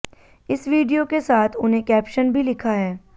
इस वीडियो के साथ उन्हें कैप्शन भी लिखा है